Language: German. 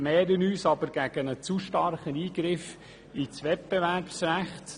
Wir wehren uns aber gegen einen zu starken Eingriff ins Wettbewerbsrecht.